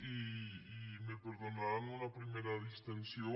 i me perdonaran una primera distensió